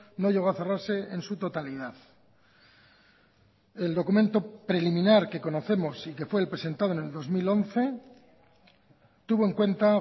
no llegó a cerrarse en su totalidad el documento preliminar que conocemos y que fue el presentado en el dos mil once tuvo en cuenta